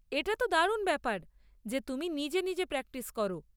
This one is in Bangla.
এটা তো দারুণ ব্যাপার, যে তুমি নিজে নিজে প্র্যাকটিস করো।